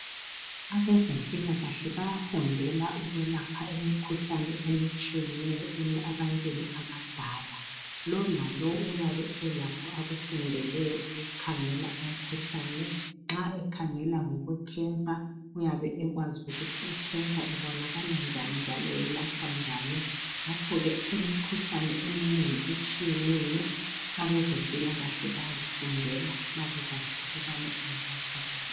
Abezempilakahle bayafundela ukwelapha imikhuhlane etshiyeneyo ebantwini abadala. Lowo lalowo uyabe elakho akufundeleyo ukukhangela umkhuhlane. Nxa ekhangela ngokwe Cancer uyabe ekwazi ukuthi ibonakala njani njalo yelatshwa njani. Ngakho ke imikhuhlane eminengi etshiyeneyo abezempilakahle bayayifundela babekwazi ukubana yelatshwa njani.